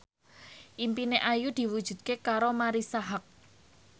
impine Ayu diwujudke karo Marisa Haque